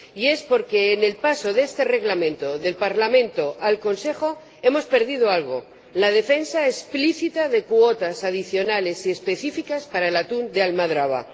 Es porque en el paso de este Reglamento del Parlamento al Consejo hemos perdido algo la defensa explícita de cuotas adicionales y específicas para el atún de almadraba.